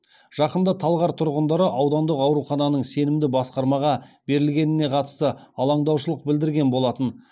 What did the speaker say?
жақында талғар тұрғындары аудандық аурухананың сенімді басқармаға берілгеніне қатысты алаңдаушылық білдірген болатын